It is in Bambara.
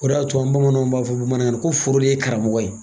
O de y'a to an bamananw b'a fɔ bamanankan na ko foro de ye karamɔgɔ ye.